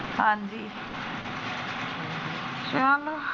ਹਾਂਜੀ ਚਲੋ।